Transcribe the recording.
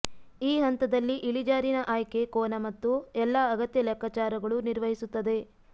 ಈ ಹಂತದಲ್ಲಿ ಇಳಿಜಾರಿನ ಆಯ್ಕೆ ಕೋನ ಮತ್ತು ಎಲ್ಲಾ ಅಗತ್ಯ ಲೆಕ್ಕಾಚಾರಗಳು ನಿರ್ವಹಿಸುತ್ತದೆ